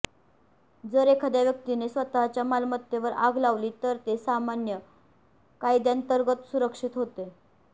जर एखाद्या व्यक्तीने स्वतःच्या मालमत्तेवर आग लावली तर ते सामान्य कायद्यांतर्गत सुरक्षित होते